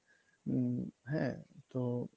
হম হ্যা তো